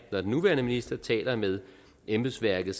når den nuværende minister taler med embedsværket